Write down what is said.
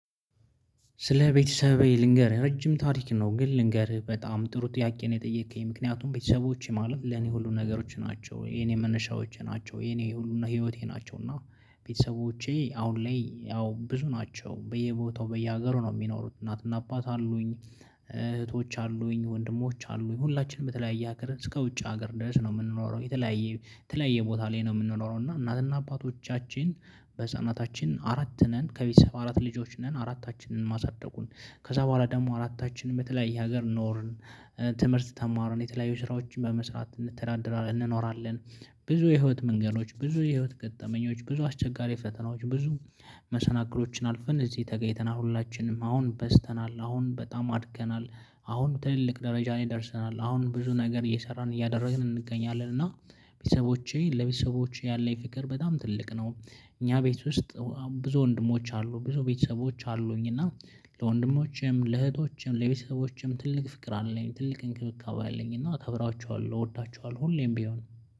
ስለ ቤተሰቤ ልንገርህ ረጅም ታሪክ ነው ግን ልንገርህ በጣም ጥሩ ጥያቄ ነው የጠየከኝ። ምክንያቱም ቤተሰቦቼ ማለት ለኔ ሁሉ ነገሮች ናቸው የኔ መነሻዎቼ ናቸው የኔ ሁሉ ህይወቴ ናቸው። እና ቤተሰቦቼ አሁን ላይ ያው ብዙ ናቸው በየቦታው በየሀገሩ ነው የሚኖሩት እናትና አባት አሉኝ። እህቶች አሉኝ ወንድሞች አሉኝ ሁላችንም በተለያየ ሀገር እስከ ውጭ ሀገር ድረስ ነው የምንኖረው። የተለያየ ተለያየ ቦታ ላይ ነው የምንኖረው። እና እናትና አባቶቻችን በህፃናታችን አራት ነን ከቤተሰብ አራት ልጆች ነን። አራታችንን ማሳደጉን ከዛ በኋላ ደግሞ አራታችንን በተለያየ ሀገር ኖርን። ትምህርት ተማርን የተለያዩ ስራዎችን በመስራት እንተዳደራለን እንኖራለን። ብዙ የህይወት መንገዶች ብዙ የህይወት ገጠመኞች ብዙ አስቸጋሪ ፈተናዎች ብዙ መሰናክሎችን አልፍን እዚህ ተገኝተናል። ሁላችንም አሁን በዝተናል አሁን በጣም አድገናል። አሁን ትልልቅ ደረጃ ላይ ደርሰናል። አሁን ብዙ ነገር እየሰራን እያደረግን እንገኛለን። እና ቤተሰቦቼ ለቤተሰቦቼ ያለኝ ፍቅር በጣም ትልቅ ነው። እኛ ቤት ውስጥ ብዙ ወንድሞች አሉ ብዙ ቤተሰቦች አሉኝ። እና ለወንድሞቼም ለእህቶቼም ለቤተሰቦቼም ትልቅ ፍቅር አለኝ ትልቅ እንክብካቤ አለኝ እና እከብራቸዋለሁ እወዳቸዋለሁ ሁሌም ቢሆን።